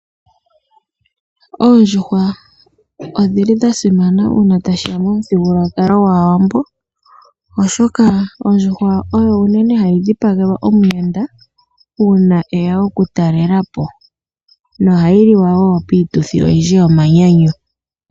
Oondjuhwa odhi li dha simana uuna tashiya pomuthigululwakalo gwAawambo, oshoka ondjuhwa oyo unene hayi dhipagelwa omuyenda uuna eya okutalelapo, nohayi liwa wo piituthi oyindji yomanyanyu.